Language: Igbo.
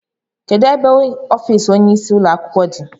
Kedụ ebe ọffici ọnye ịsị ụlọakwụkwọ gị dị?